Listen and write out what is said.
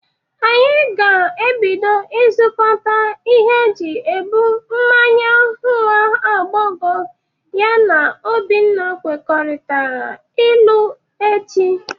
Anyị ga-ebido ịzụkọta ihe e ji ebụ mmanya nwa agbọghọ ya na Obinna kwekọrịtara ịlụ, echi.